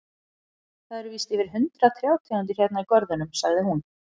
Það eru víst yfir hundrað trjátegundir hérna í görðunum, sagði hún.